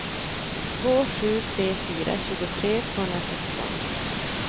två sju tre fyra tjugotre tvåhundrasexton